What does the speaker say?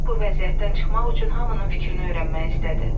O bu vəziyyətdən çıxmaq üçün hamının fikrini öyrənmək istədi.